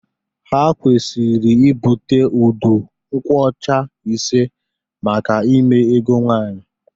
Ha kwesịrị ịbute udu nkwocha ise maka ime ego nwanyị